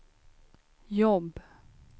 jobb